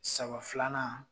Saba filanan